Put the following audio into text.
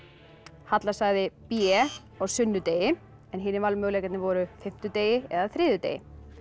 halla sagði b á sunnudegi en hinir valmöguleikarnir voru fimmtudegi eða þriðjudegi